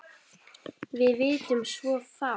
Við vitum svo fátt.